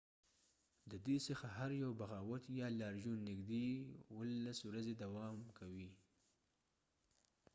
د دې څخه هر یو بغاوت یا لاریون نږدې ۱۷ ورځې دوام کوي